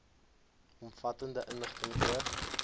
omvattende inligting oor